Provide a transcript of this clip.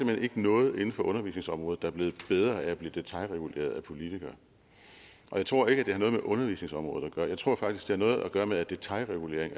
hen ikke noget inden for undervisningsområdet der er blevet bedre af at blive detailreguleret af politikere og jeg tror ikke har noget med undervisningsområdet at gøre jeg tror faktisk det har noget at gøre med at detailregulering